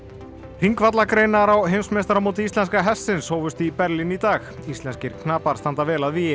hringvallagreinar á heimsmeistaramóti íslenska hestsins hófust í Berlín í dag íslenskir knapar standa vel að vígi